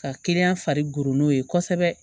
Ka kɛnɛya fari goro n'o ye kosɛbɛ